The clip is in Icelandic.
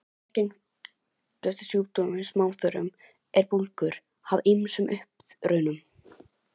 Algengustu sjúkdómar í smáþörmum eru bólgur af ýmsum uppruna.